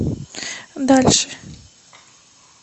дальше